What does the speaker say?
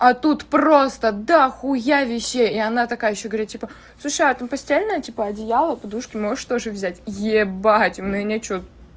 а тут просто дахуя вещей и она такая говорит типа слушает он постоянно типа одеяло подушку можешь тоже взять е у меня что